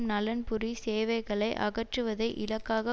நலன்புரி சேவைகளை அகற்றுவதை இலக்காக